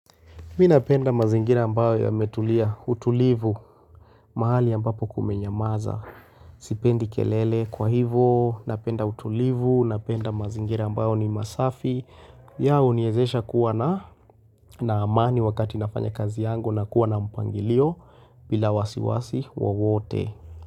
Mi napenda mazingira ambayo yametulia utulivu mahali ambapo kumenyamaza. Sipendi kelele kwa hivo, napenda utulivu, napenda mazingira ambayo ni masafi. Ya uniezesha kuwa na na amani wakati nafanya kazi yangu na kuwa na mpangilio bila wasiwasi wowote.